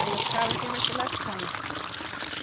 Aí o cabo aqui vai se lascando.